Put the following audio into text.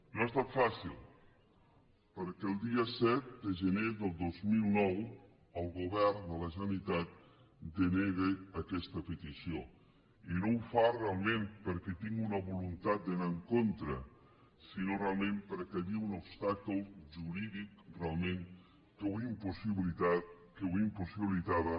no ha estat fàcil perquè el dia set de gener del dos mil nou el govern de la generalitat denega aquesta petició i no ho fa realment perquè tingui una voluntat d’anar hi en contra sinó realment perquè hi havia un obstacle jurídic realment que ho impossibilitava